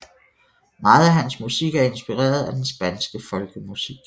Meget af hans musik er inspireret af den spanske folkemusik